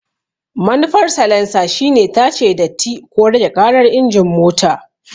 Manufar salansa shine tace datti ko rage ƙarar injin mota.